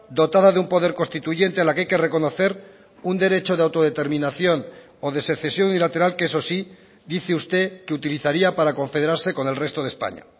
dotada de un poder constituyente a la que hay que reconocer un derecho de autodeterminación o de secesión bilateral que eso sí dice usted que utilizaría para confederarse con el resto de españa